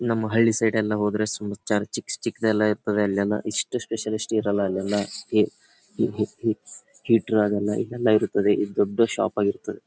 ನಮ್ಮ ಹಳ್ಳಿ ಸೈಡ್ ಎಲ್ಲ ಹೋದ್ರೆ ಚಿಕ್ ಚಿಕ್ಕದೆಲ್ಲ ಇರ್ತದೆ ಅಲ್ಲೆಲ್ಲ ಇಷ್ಟು ಸ್ಪೆಷಲಿಸ್ಟ್ ಇರಲ್ಲ ಅಲ್ಲೆಲ್ಲ ಈ ಈ ಹೀಟರ್ ಹಾಗೆಲ್ಲ ಇದೆಲ್ಲ ಇರ್ತದೆ ಈ ದೊಡ್ಡ ಶಾಪ್ ಆಗಿರ್ತದೆ.